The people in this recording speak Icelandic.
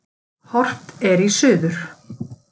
Horft er í suður.